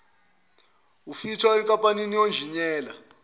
wufitha enkampanini yonjiniyela